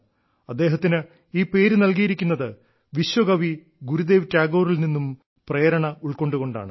അദ്ദേഹത്തിന് ഈ പേര് നൽകിയിരിക്കുന്നത് വിശ്വകവി ഗുരുദേവ് ടാഗോറിൽ നിന്നും പ്രേരണ ഉൾക്കൊണ്ടുകൊണ്ടാണ്